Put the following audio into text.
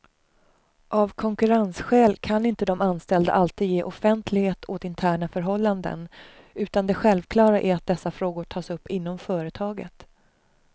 Av konkurrensskäl kan inte de anställda alltid ge offentlighet åt interna förhållanden, utan det självklara är att dessa frågor tas upp inom företaget.